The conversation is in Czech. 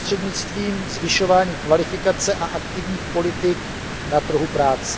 prostřednictvím zvyšování kvalifikace a aktivních politik na trhu práce.